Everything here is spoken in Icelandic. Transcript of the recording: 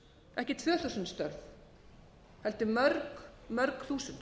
ekki um tvö þúsund störf heldur mörg þúsund